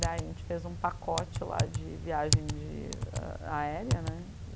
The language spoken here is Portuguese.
Daí a gente fez um pacote lá de viagem de... aérea, né?